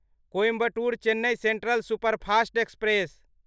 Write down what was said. Coimbatore Chennai central superfast express